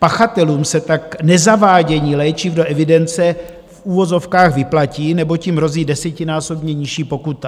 Pachatelům se tak nezavádění léčiv do evidence v uvozovkách vyplatí, neboť jim hrozí desetinásobně nižší pokuta.